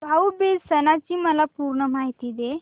भाऊ बीज सणाची मला पूर्ण माहिती दे